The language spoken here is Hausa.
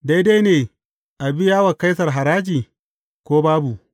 Daidai ne a biya wa Kaisar haraji, ko babu?